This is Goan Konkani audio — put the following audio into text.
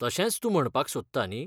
तशेंच तूं म्हणपाक सोदता न्ही?